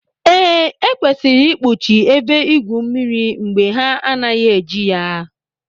Ee, Ekwesịrị ikpuchi ebe igwu mmiri mgbe ha anaghị eji ya